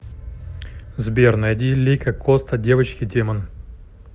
сбер найди лика коста девочка демон